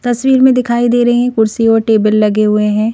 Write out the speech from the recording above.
तस्वीर में दिखाई दे रहे हैं कुर्सी और टेबल लगे हुए हैं।